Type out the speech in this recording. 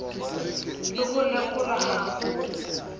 le ho lekolwa ha ho